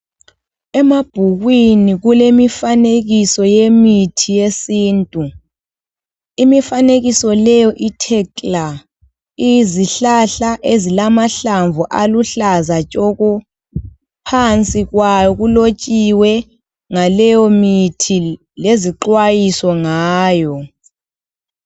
Emabhukwini kulemifanekiso yemithi yesintu. Imifanekiso leyo ithe kla, iyizihlahla ezilamahlamvu aluhlaza tshoko, phansi kwayo kulotshiwe ngaleyomithi lezixwayiso ngayo.